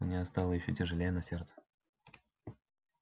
у неё стало ещё тяжелее на сердце